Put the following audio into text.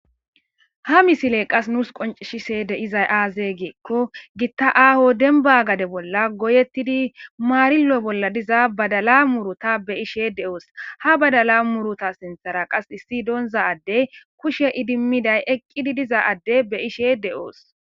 Ha misile qas nuus qoncishi seede izay aazee geekko gitta aaho denba gade bolla goyettidi maarillo bolla diza badala muruta be ishe de'oos ha badala muruta sinthara qas issi doonza addey kushe idimmiday eqqidi diza adde be ishe de'oos.